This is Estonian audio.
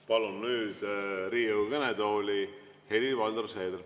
Palun nüüd Riigikogu kõnetooli Helir-Valdor Seederi.